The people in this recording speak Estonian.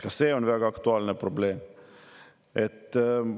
Ka see on väga aktuaalne probleem!